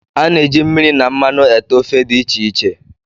A na-eji mmiri na mmanụ ete ofe dị iche iche